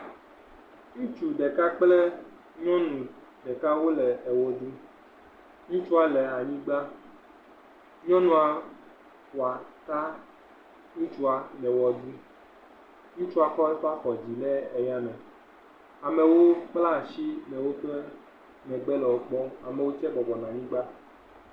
Ŋutsu ɖeka kple nyɔnu ɖeka wole eʋe ɖum. Ŋutsua le anyigba, nyɔnua wɔ ata ŋutsua le wɔ ɖum. Ŋutsua kɔ eƒe afɔ dzi le aya me. Amewo kple asi le woƒe megbe le wo kpɔm. Amewo tse bɔbɔnɔ anyigba.